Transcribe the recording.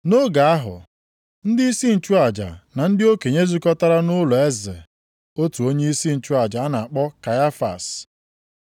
Nʼoge ahụ, ndịisi nchụaja, na ndị okenye zukọtara nʼụlọeze otu onyeisi nchụaja a na-akpọ Kaịfas.